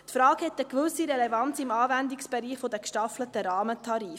Diese Frage hat eine gewisse Relevanz im Anwendungsbereich der gestaffelten Rahmentarife.